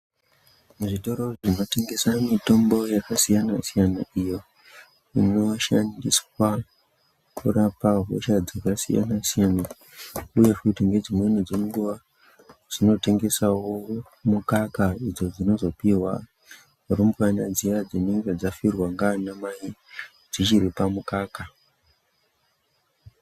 Muzvitoro zvinotengesa mitombo yakasiyana siyana iyo inoshandiswa kurapa hosha dzakasiyana siyana uye kuti nedzimweni nguwa dzinotengesawo mukaka idzo dzinozopiwa rumbwana dziya dzinenge dzafirwa ngaana mai dzichiri pamukaka.